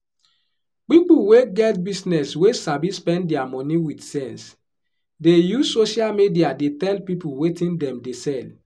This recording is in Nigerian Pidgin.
pipu wey get business wey sabi spend dia money wit sense dey use social media dey tell people wetin dem dey sell